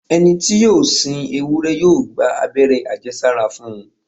Ẹni tí yóò sin ewúrẹ́ yóò gba abẹ́rẹ́ àjẹsára fún un.